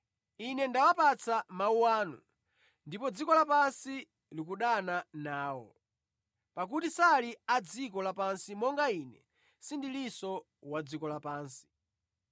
Ine ndawapatsa mawu anu ndipo dziko lapansi likudana nawo, pakuti sali a dziko lapansi monga Ine sindilinso wa dziko lapansi.